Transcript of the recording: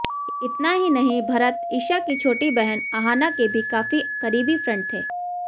इतना ही नहीं भरत ईशा की छोटी बहन आहना के भी काफी करीबी फ्रेंड थे